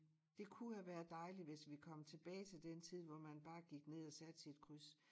Det kunne have været dejligt hvis vi kom tilbage til den tid hvor man bare gik ned og satte sit kryds